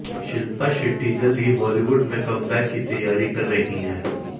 शिल्पा शेट्टी जल्द ही बॉलीवुड में कमबैक की तैयारी कर रही हैं